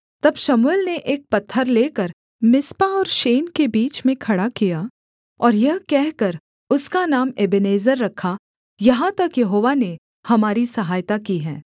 तब शमूएल ने एक पत्थर लेकर मिस्पा और शेन के बीच में खड़ा किया और यह कहकर उसका नाम एबेनेजेर रखा यहाँ तक यहोवा ने हमारी सहायता की है